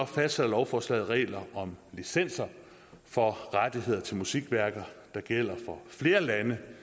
fastsætter lovforslaget regler om licenser for rettigheder til musikværker der gælder for flere lande